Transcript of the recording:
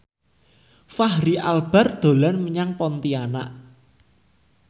Fachri Albar dolan menyang Pontianak